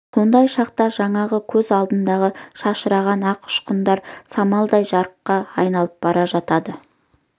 сондай шақта жаңағы көз алдындағы шашыраған ақ ұшқындар самаладай жарыққа айналып бара жатады